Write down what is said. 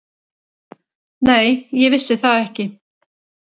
Nei, ég vissi það ekki.